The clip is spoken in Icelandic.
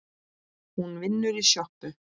Hún vinnur í sjoppu